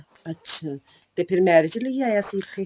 ਅੱਛਾ ਤੇ ਫਿਰ marriage ਲਈ ਆਇਆ ਸੀ ਇੱਥੇ